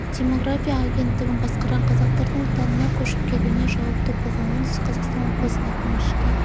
демография агенттігін басқарған қазақтардың отанына көшіп келуіне жауапты болған оңтүстік қазақстан облысының әкімі ішкі